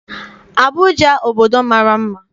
Abụja obodo mara mma.